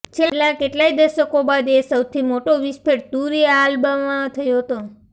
છેલ્લા કેટલાય દશકો બાદ એ સૌથી મોટો વિસ્ફેટ તુરીઆલ્બામાં થયો હતો